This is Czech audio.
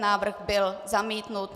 Návrh byl zamítnut.